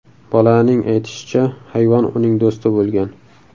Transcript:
Bolaning aytishicha, hayvon uning do‘sti bo‘lgan.